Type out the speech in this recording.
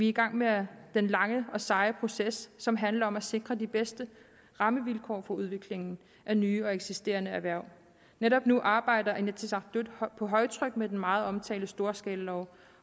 i gang med den lange og seje proces som handler om at sikre de bedste rammevilkår for udviklingen af nye og eksisterende erhverv netop nu arbejder inatsisartut på højtryk med den meget omtalte storskalalov